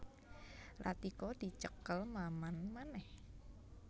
Latika dicekel Maman manèh